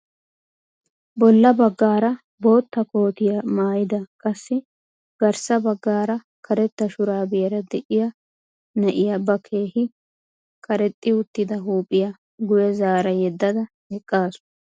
Bolla bagaara bootta kootiyaa maayida qassi garssa baggaara karetta shuraabiyaara de'iyaa na'iyaa ba keehi karexxi uttida huuphphiyaa guye zaara yeddada eqqasu.